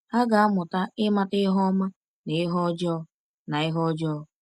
Ha ga-amụta ịmata ihe ọma na ihe ọjọọ. na ihe ọjọọ.